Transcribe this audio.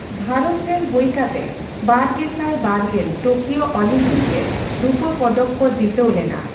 ᱵᱷᱟᱨᱚᱛ ᱨᱮᱱ ᱦᱳᱭ ᱠᱟᱛᱮ ᱵᱟᱨᱜᱮᱥᱟᱭ ᱵᱟᱨᱜᱮᱞ ᱴᱳᱠᱤᱭᱳ ᱚᱞᱤᱢᱯᱤᱠᱨᱮ ᱨᱩᱯᱟᱹ ᱯᱚᱫᱚᱠ ᱠᱚ ᱡᱤᱛᱟᱹᱣ ᱞᱮᱱᱟ ᱾